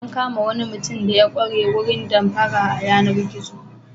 An kama wani mutum da ya ƙware wurin damfara a yanar-gizo.